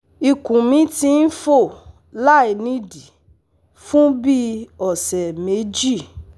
Ikun mi ti n fo lainidii fun bii ọsẹ meji